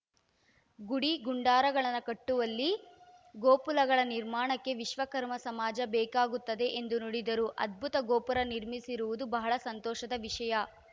ಗುಡಿ ಗುಂಡಾರಗಳನ್ನು ಕಟ್ಟುವಲ್ಲಿ ಗೋಪುಲಗಳ ನಿರ್ಮಾಣಕ್ಕೂ ವಿಶ್ವಕರ್ಮ ಸಮಾಜ ಬೇಕಾಗುತ್ತದೆ ಎಂದು ನುಡಿದರು ಅದ್ಭುತ ಗೋಪುರ ನಿರ್ಮಿಸಿರುವುದು ಬಹಳ ಸಂತೋಷದ ವಿಷಯ